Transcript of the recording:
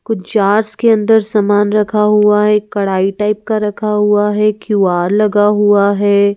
कुछ जार्स के अंदर सामान रखा हुआ है कढ़ाई टाइप का रखा हुआ है क्यू_आर लगा हुआ है।